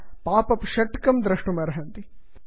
भवन्तः pop up षट्कं द्रष्टुम् अर्हन्ति